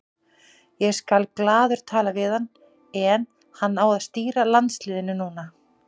Ég skal glaður tala við hann en hann á að stýra landsliðinu núna.